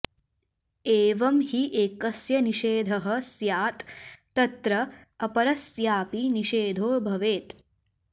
एवं हि एकस्य निषेधः स्यात् तत्र अपरस्यापि निषेधो भवेत्